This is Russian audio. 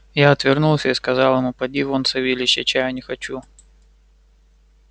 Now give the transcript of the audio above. я отвернулся и сказал ему поди вон савельич я чаю не хочу